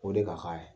O de ka kan